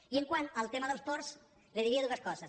i quant al tema dels ports li diria dues coses